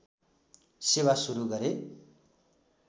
सेवा सुरु गरे